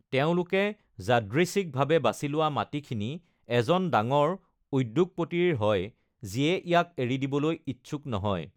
তেওঁলোকে যাদৃচ্ছিকভাৱে বাছি লোৱা মাটিখিনি এজন ডাঙৰ উদ্যোগপতিৰ হয়, যিয়ে ইয়াক এৰি দিবলৈ ইচ্ছুক নহয়।